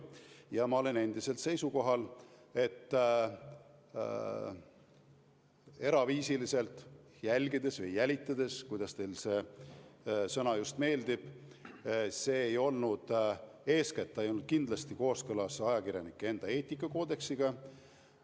Ja ma olen endiselt seisukohal, et eraviisiliselt teda jälgides või jälitades – kumb sõna teile meeldib – ei tegutsetud eeskätt kindlasti kooskõlas ajakirjanike enda eetikakoodeksiga.